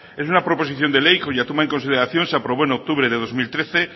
es una proposición de ley cuya toma en consideración se aprobó en octubre del dos mil trece